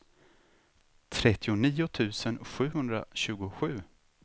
trettionio tusen sjuhundratjugosju